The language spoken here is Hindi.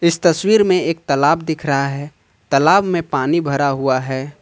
इस तस्वीर में एक तालाब दिख रहा हैं तालाब में पानी भरा हुआ हैं।